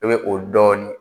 I bɛ o dɔɔnin